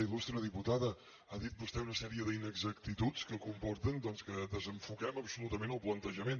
il·lustre diputada ha dit vostè una sèrie d’inexactituds que comporten doncs que desenfoquem absolutament el plantejament